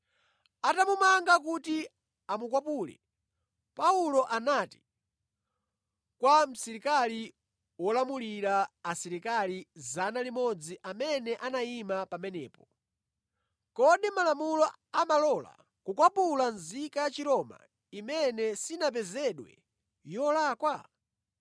Atamumanga kuti amukwapule, Paulo anati kwa msilikali wolamulira asilikali 100 amene anayima pamenepo, “Kodi malamulo amalola kukwapula nzika ya Chiroma imene sinapezedwe yolakwa?”